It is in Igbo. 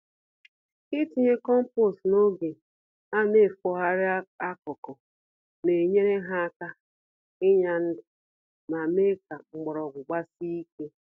Itinye kompost n'oge anefogharị akụkụ, na enyere ha aka ịnya ndụ, ma mee ka mgbọrọgwụ gbasie ike.